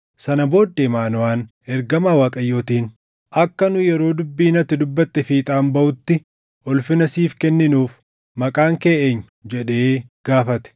Sana booddee Maanoʼaan ergamaa Waaqayyootiin, “Akka nu yeroo dubbiin ati dubbatte fiixaan baʼutti ulfina siif kenninuuf maqaan kee eenyu?” jedhee gaafate.